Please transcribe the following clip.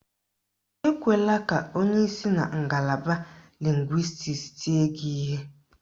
Ekwela ka onye si na ngalaba lịngwịstiks tie gị ihe.